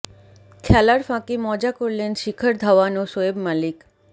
খেলার ফাঁকে মজা করলেন শিখর ধাওয়ান ও শোয়েব মালিক